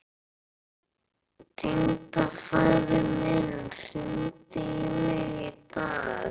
Tengdafaðir minn hringdi í mig í dag.